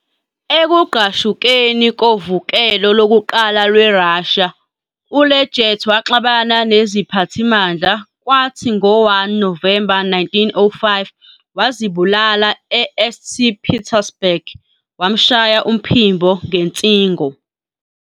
Ekugqashukeni koVukelo Lokuqala LweRussia, uLegat waxabana neziphathimandla, kwathi ngo-1 Novemba 1905, wazibulala eSt. Petersburg, wamshaya umphimbo ngensingo.